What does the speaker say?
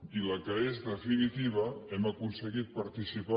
i la que és definitiva hem aconseguit par·ticipar